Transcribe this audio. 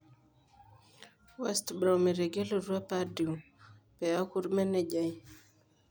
West Brom etegelutwa Pardew piaku ormenejai.